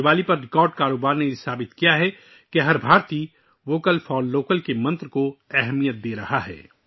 دیوالی پر ریکارڈ کاروبار نے ثابت کر دیا کہ ہر ہندوستانی 'ووکل فار لوکل' کے منتر کو اہمیت دے رہا ہے